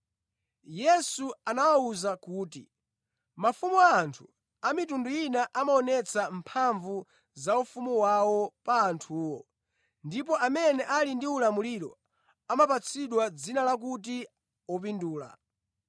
Yesu anawawuza kuti, “Mafumu a anthu a mitundu ina amaonetsa mphamvu za ufumu wawo pa anthuwo; ndipo amene ali ndi ulamuliro, amapatsidwa dzina la kuti ‘Opindula.’